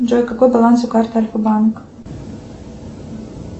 джой какой баланс у карты альфа банк